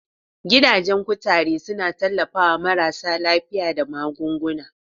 Gidajen kuturu suna tallafawa marasa lafiya da magunguna.